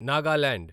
Nagaland